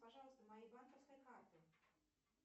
пожалуйста моей банковской картой